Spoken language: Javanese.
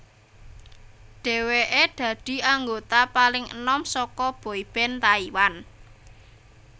Dhèwèké dadi anggota paling enom saka boyband Taiwan